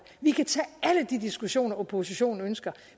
vi kan tage alle de diskussioner oppositionen ønsker